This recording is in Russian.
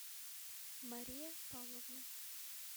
мария павловна